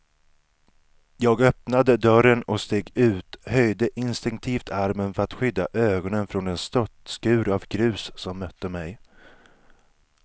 Jag öppnade dörren och steg ut, höjde instinktivt armen för att skydda ögonen från den störtskur av grus som mötte mig.